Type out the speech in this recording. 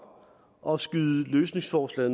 og skyde løsningsforslag